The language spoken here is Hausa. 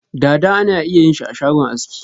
Dada ana iya yin shi ashagon aski.